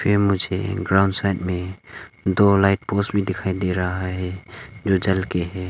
मुझे ground side में दो लाइट पोस्ट भी दिखाई दे रहा है जो जल के है।